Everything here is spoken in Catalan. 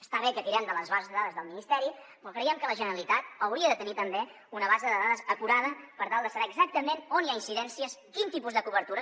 està bé que tirem de les bases de dades del ministeri però creiem que la generalitat hauria de tenir també una base de dades acurada per tal de saber exactament on hi ha incidències quin tipus de cobertures